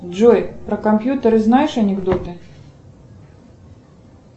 джой про компьютеры знаешь анекдоты